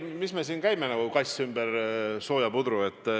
Mis me siin käime nagu kass ümber sooja pudru.